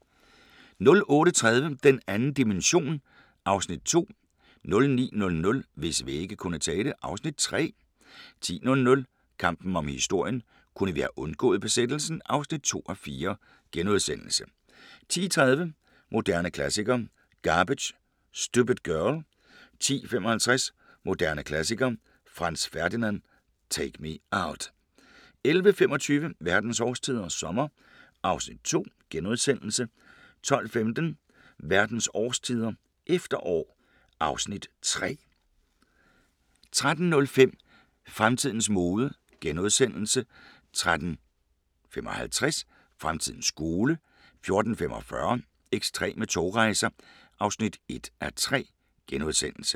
08:30: Den 2. dimension (Afs. 2) 09:00: Hvis vægge kunne tale (Afs. 3) 10:00: Kampen om historien – kunne vi have undgået besættelsen? (2:4)* 10:30: Moderne Klassikere: Garbage – Stupid Girl 10:55: Moderne Klassikere: Franz Ferdinand – Take Me Out 11:25: Verdens årstider – sommer (Afs. 2)* 12:15: Verdens årstider – efterår (Afs. 3) 13:05: Fremtidens mode * 13:55: Fremtidens skole 14:45: Ekstreme togrejser (1:3)*